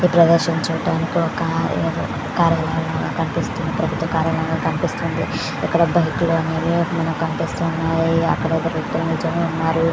ఈ ప్రదర్శం చూడడం తో కార్ అవి ఇవి కనిపిస్తూ వున్నాయ్ ఒక బైక్ కూడా కనిపిస్తూ వుంది ఇదరు నిలుచొని వున్నారు.